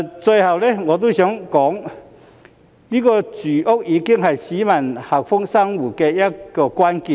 最後，我想說，住屋已是市民幸福生活的關鍵。